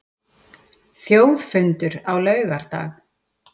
Þjóðfundur á laugardag